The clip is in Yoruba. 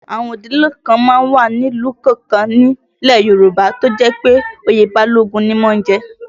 Àwọn ìdílé kan má ń wà ní ìlú kọ̀ọ̀kan nílẹ̀ Yorùbá tí ó jẹ́ pé oyè Balógun ni wọ́n ń jẹ